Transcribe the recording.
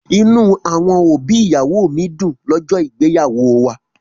Inú àwọn òbí ìyàwó mi dùn lọ́jọ́ ìgbéyàwó wa.